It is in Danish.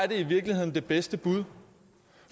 i virkeligheden de bedste bud